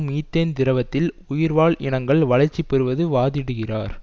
methane திரவத்தில் உயிர் வாழ் இனங்கள் வளர்ச்சி பெறுவது வாதிடுகிறார்